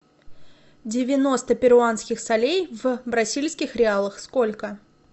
девяносто перуанских солей в бразильских реалах сколько